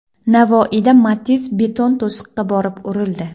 Navoiyda Matiz beton to‘siqqa borib urildi.